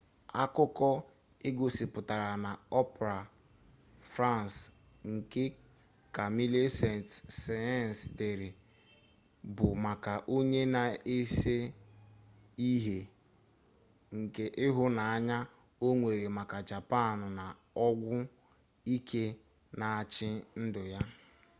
akụkọ egosipụtara na opera french nke camille saint-saens dere bụ maka onye na-ese ihe nke ịhụnanya o nwere maka japan na ọgwụ ike na-achị ndụ ya